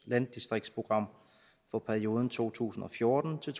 landdistriktsprogram for perioden to tusind og fjorten til